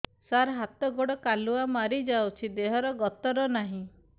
ସାର ହାତ ଗୋଡ଼ କାଲୁଆ ମାରି ଯାଉଛି ଦେହର ଗତର ନାହିଁ